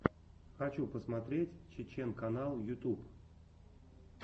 хочу посмотреть чечен канал ютюб